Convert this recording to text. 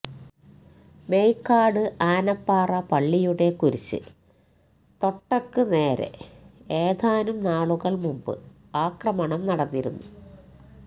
മേയ്ക്കാട് ആനപ്പാറ പള്ളിയുടെ കുരിശ് തൊട്ടക്ക് നേരെ ഏതാനും നാളുകള് മുമ്പ് ആക്രമണം നടന്നിരുന്നു